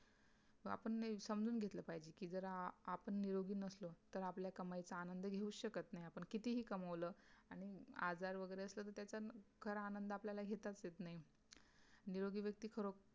आपल ला समझूँ गेटे पहिचे